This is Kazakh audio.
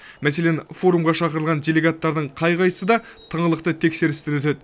мәселен форумға шақырылған делегаттардың қай қайсы да тыңғылықты тексерістен өтеді